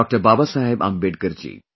Baba Saheb Ambedkar ji